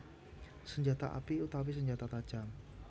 Senjata api utawi senjata tajam